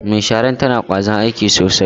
Mai sharar tana da kwazon aiki sosai.